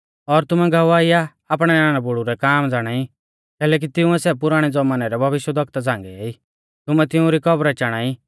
और तुमै गवाही आ आपणै नाना बुड़ु रै काम ज़ाणाई कैलैकि तिंउऐ सै पुराणै ज़मानै रै भविष्यवक्ता झ़ांगेई तुमै तिउंरी कब्रै चाणा ई